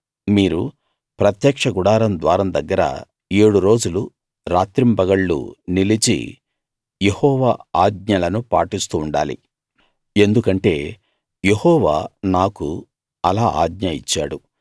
మీరు ప్రత్యక్ష గుడారం ద్వారం దగ్గర ఏడు రోజులు రాత్రింబగళ్ళు నిలిచి యెహోవా ఆజ్ఞలను పాటిస్తూ ఉండాలి ఎందుకంటే యెహోవా నాకు అలా ఆజ్ఞ ఇచ్చాడు